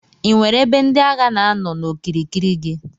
Inwere ebe ndi agha na anọ n'okirikiri gi.